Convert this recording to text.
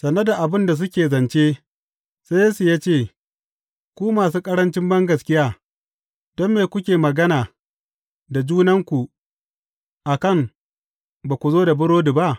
Sane da abin da suke zance, sai Yesu ya ce, Ku masu ƙarancin bangaskiya, don me kuke magana da junanku a kan ba ku zo da burodi ba?